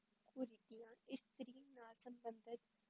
ਕੁਰੀਤੀਆਂ ਇਸਤਰੀ ਨਾਲ ਸੰਬੰਧਤ